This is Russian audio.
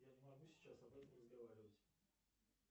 я не могу сейчас об этом разговаривать